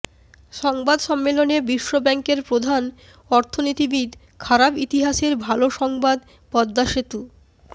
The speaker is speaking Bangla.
সংবাদ সম্মেলনে বিশ্বব্যাংকের প্রধান অর্থনীতিবিদ খারাপ ইতিহাসের ভালো সংবাদ পদ্মা সেতু